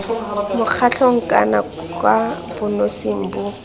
mokgatlhong kana kwa bonosing bo